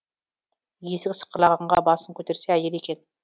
есік сықырлағанға басын көтерсе әйелі екен